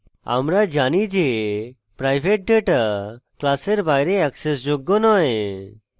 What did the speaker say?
আমরা জানি যে প্রাইভেট ডেটা class বাইরে অ্যাক্সেসযোগ্য নয়